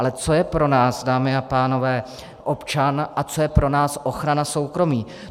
Ale co je pro nás, dámy a pánové, občan a co je pro nás ochrana soukromí?